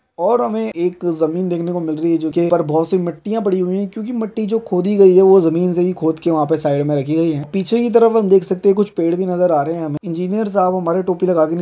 और हमें एक जमीन देखने को मिल रही है जो की बहुत सी मिट्टियाँ पड़ी हुई हैं क्योंकि मिट्टी जो खोदी गई है वो जमीन से ही खोद के वहाँ पर साइड में रखी गई है पीछे की तरफ हम देख सकते है कुछ पेड़ भी नजर आ रहे हैं हमें इंजीनियर साहब हमारे टोपी लगा के --